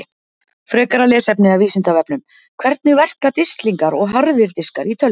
Frekara lesefni af Vísindavefnum: Hvernig verka disklingar og harðir diskar í tölvum?